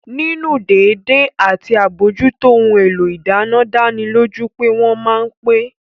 Nínú dédé àti àbójútó ohun èlò ìdáná dánilójú pé wọ́n ma pẹ́